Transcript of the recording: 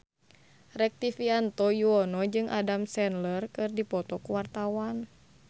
Rektivianto Yoewono jeung Adam Sandler keur dipoto ku wartawan